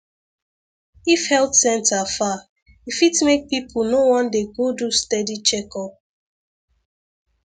if health center far e fit make people no wan dey go do steady checkup